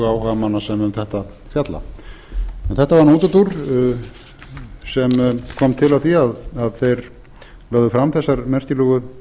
sem um þetta fjalla en þetta var nú útúrdúr sem kom til af því að þeir lögðu fram þessar merkilegu